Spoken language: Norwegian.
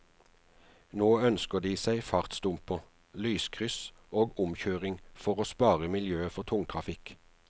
Nå ønsker de seg fartsdumper, lyskryss og omkjøring for å spare miljøet for tungtrafikk.